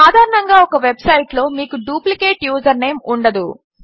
సాధారణంగా ఒక వెబ్సైట్లో మీకు డ్యూప్లికేట్ యూజర్నేమ్ ఉండదు